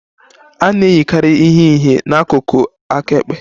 A na-eyikarị ihe ihe n'akụkụ aka ekpe.